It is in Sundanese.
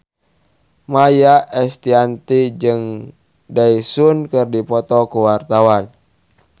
Maia Estianty jeung Daesung keur dipoto ku wartawan